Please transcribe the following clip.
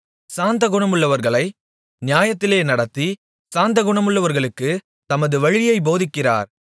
சாந்த குணமுள்ளவர்களை நியாயத்திலே நடத்தி சாந்த குணமுள்ளவர்களுக்குத் தமது வழியைப் போதிக்கிறார்